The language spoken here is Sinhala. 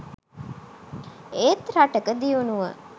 ඒත් රටක දියුණුව